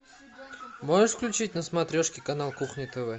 можешь включить на смотрешке канал кухня тв